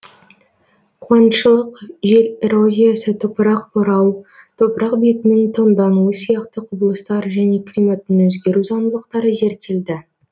қуаңшылық жел эрозиясы топырақ борау топырақ бетінің тоңдануы сияқты құбылыстар және климаттың өзгеру заңдылықтары зерттелді